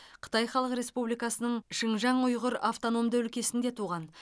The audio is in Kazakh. қытай халық республикасының шынжаң ұйғыр автономды өлкесінде туған